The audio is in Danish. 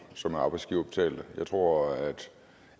som er arbejdsgiverbetalte jeg tror